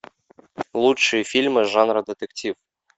лучшие фильмы жанра детектив